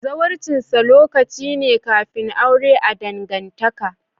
Zawarcinsa lokaci ne kafin aure a'dangantaka.